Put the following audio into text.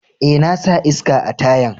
Eh, na sa iska a tayan.